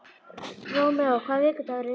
Rómeó, hvaða vikudagur er í dag?